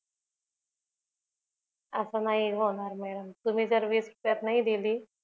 अस नाही होणार मॅडम तुम्ही जर वीस रुपयात नाही दिली